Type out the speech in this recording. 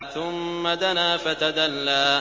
ثُمَّ دَنَا فَتَدَلَّىٰ